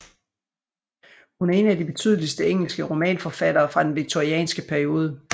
Hun er en af de betydeligste engelske romanforfattere fra den victorianske periode